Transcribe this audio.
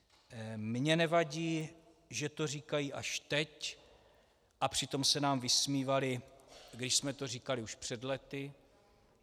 Mně nevadí, že to říkají až teď, a přitom se nám vysmívali, když jsme to říkali už před lety.